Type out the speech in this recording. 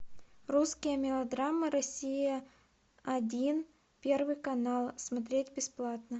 русские мелодрамы россия один первый канал смотреть бесплатно